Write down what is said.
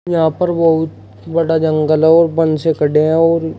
यहां पर बहुत बड़ा जंगल है और वन से खडे है और--